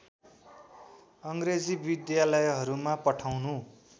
अङ्ग्रेजी विद्यालहरूमा पठाउनु